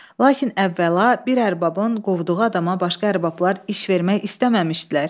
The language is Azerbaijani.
Lakin əvvəla, bir ərbabın qovduğu adama başqa ərbablar iş vermək istəməmişdilər.